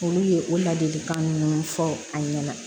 Olu ye o ladilikan minnu fɔ an ɲɛna